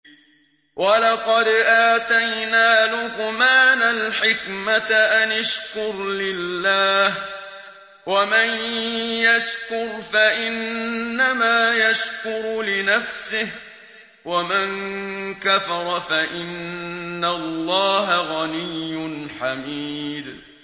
وَلَقَدْ آتَيْنَا لُقْمَانَ الْحِكْمَةَ أَنِ اشْكُرْ لِلَّهِ ۚ وَمَن يَشْكُرْ فَإِنَّمَا يَشْكُرُ لِنَفْسِهِ ۖ وَمَن كَفَرَ فَإِنَّ اللَّهَ غَنِيٌّ حَمِيدٌ